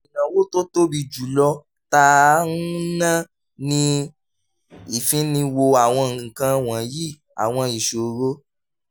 ìnáwó tó tóbi jù lọ tá à ń ná ni ìfiniwo àwọn nǹkan wọ̀nyí àwọn ìṣòro